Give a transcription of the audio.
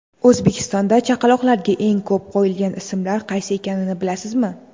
O‘zbekistonda chaqaloqlarga eng ko‘p qo‘yilgan ismlar qaysi ekanini bilasizmi?.